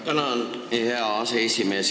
Tänan, hea aseesimees!